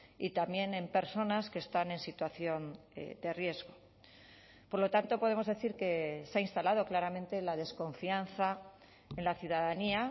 y también en personas que están en situación de riesgo por lo tanto podemos decir que se ha instalado claramente la desconfianza en la ciudadanía